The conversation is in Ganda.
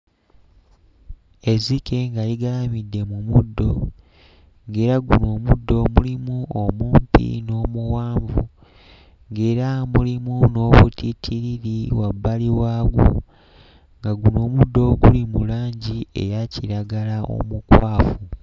Ezzike nga ligalamidde mu muddo, ng'era guno omuddo mulimu omumpi n'omuwanvu, ng'era mulimu n'obutittiriri wabbali waagwo, nga guno omuddo guli mu langi eya kiragala omukwafu.